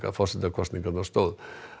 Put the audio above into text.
forsetakosningarnar stóð